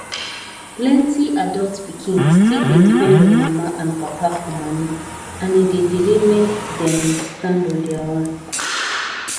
plenti adult pikin still dey depend on mama and papa for moni and e dey delay make dem stand on their own